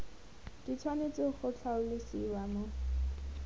di tshwanetse go tlhalosiwa mo